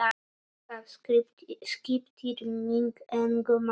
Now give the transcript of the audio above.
Það skiptir mig engu máli.